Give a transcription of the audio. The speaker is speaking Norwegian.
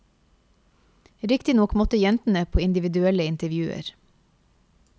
Riktignok måtte jentene på individuelle intervjuer.